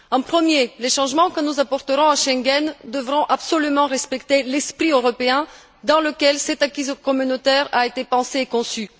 Pour commencer, les changements que nous apporterons à Schengen devront absolument respecter l'esprit européen dans lequel cet acquis communautaire a été pensé et conçu.